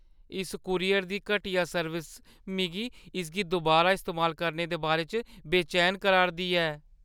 इस कूरियर दी घटिया सर्विस मिगी इसगी दुबारा इस्तेमाल करने दे बारे च बेचैन करा 'रदी ऐ।